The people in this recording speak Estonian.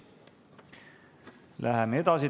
Läheme edasi.